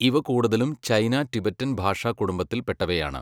ഇവ കൂടുതലും China, Tibetan ഭാഷാ കുടുംബത്തിൽ പെട്ടവയാണ്.